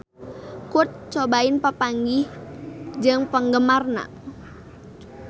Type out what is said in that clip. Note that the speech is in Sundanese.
Kurt Cobain papanggih jeung penggemarna